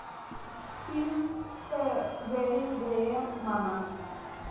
фильм гэри грея мама